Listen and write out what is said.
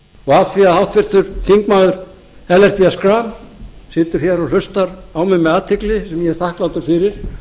og af því að háttvirtir þingmenn ellert b schram situr hér og hlustar á mig með athygli sem ég er þakklátur fyrir